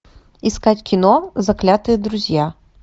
искать кино заклятые друзья